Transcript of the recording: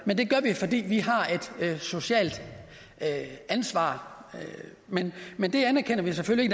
men det gør vi fordi vi har et socialt ansvar men det anerkender vi selvfølgelig